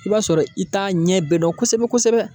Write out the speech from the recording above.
I b'a sɔrɔ i t'a ɲɛ bɛɛ dɔn kosɛbɛ-kosɛbɛ